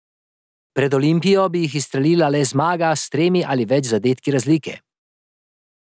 Pred Olimpijo bi jih izstrelila le zmaga s tremi ali več zadetki razlike.